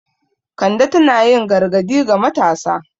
Kande tana yin gargadi ga matasa.